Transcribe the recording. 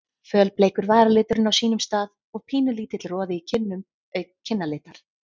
Fölbleikur varaliturinn á sínum stað og pínulítill roði í kinnum auk kinnalitar.